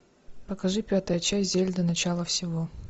покажи пятая часть зельда начало всего